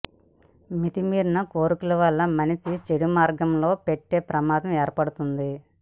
మితిమీరిన కోర్కెల వల్ల మనిషి చెడు మార్గం పట్టే ప్రమాదం ఏర్పడుతుంది